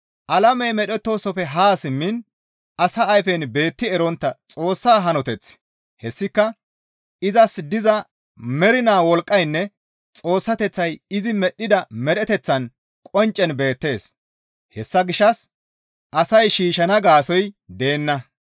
Alamey medhettoosofe haa simmiin asa ayfen beetti erontta Xoossa hanoteththi hessika izas diza mernaa wolqqaynne Xoossateththay izi medhdhida medheteththaan qonccen beettees; hessa gishshas asay shiishshana gaasoykka deenna.